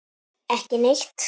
Ekki neitt